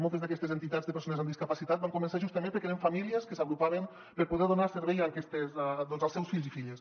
moltes d’aquestes entitats de persones amb discapacitat van començar justament perquè eren famílies que s’agrupaven per poder donar servei doncs als seus fills i filles